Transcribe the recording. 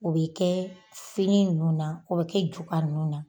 O bɛ kɛ fini nunnu na, o be kɛ juka nunnu na.